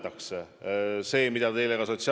Kas see nii läheb või mitte, on iga inimese enda otsus.